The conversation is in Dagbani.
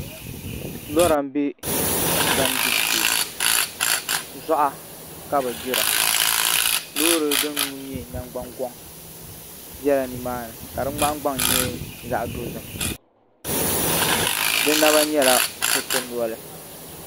Lora n bɛ tingbani gbibu shee zuɣa ka bi gbira loori din nuu nyɛ nangbani goŋ biɛla nimaani ka di nahangbaŋ nyɛ zaɣ dozim di naba nyɛla kuriti noli